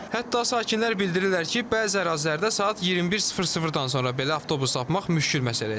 Hətta sakinlər bildirirlər ki, bəzi ərazilərdə saat 21:00-dan sonra belə avtobus tapmaq müşküli məsələyə çevrilir.